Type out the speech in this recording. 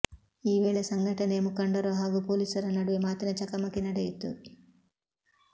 ಈ ವೇಳೆ ಸಂಘಟನೆಯ ಮುಖಂಡರು ಹಾಗೂ ಪೊಲೀಸರ ನಡುವೆ ಮಾತಿನ ಚಕಮಕಿ ನಡೆಯಿತು